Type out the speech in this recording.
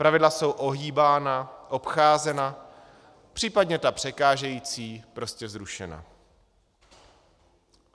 Pravidla jsou ohýbána, obcházena, případně ta překážející prostě zrušena.